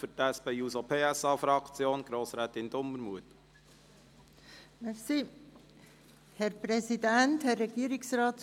Für die SP-JUSO-PSA-Fraktion spricht Grossrätin Dumermuth.